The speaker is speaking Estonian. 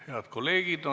Head kolleegid!